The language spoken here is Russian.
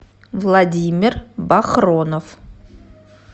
владимир бахронов